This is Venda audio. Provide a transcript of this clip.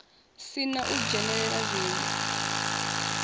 si na u dzhenelela zwiwo